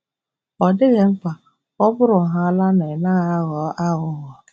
Ọ dịghị mkpa, ọ bụrụhaala na ị naghị aghọ aghụghọ.